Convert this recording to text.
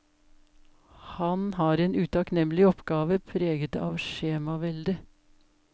Han har en utakknemlig oppgave preget av skjemavelde.